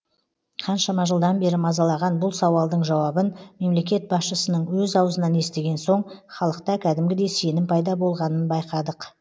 қаншама жылдан бері мазалаған бұл сауалдың жауабын мемлекет басшысының өз аузынан естіген соң халықта кәдімгідей сенім пайда болғанын байқадық